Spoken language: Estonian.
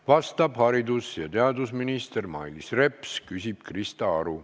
Vastab haridus- ja teadusminister Mailis Reps, küsib Krista Aru.